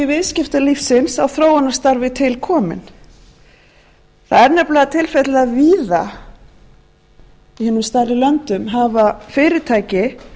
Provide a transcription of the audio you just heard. viðskiptalífsins á þróunarstarfi til kominn það er nefnilega tilfellið að víða í hinum stærri löndum hafa fyrirtæki